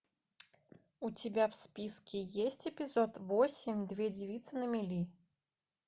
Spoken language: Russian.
у тебя в списке есть эпизод восемь две девицы на мели